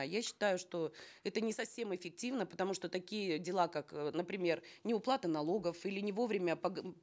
я считаю что это не совсем эффективно потому что такие дела как э например неуплата налогов или невовремя